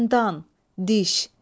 Dəndan, diş.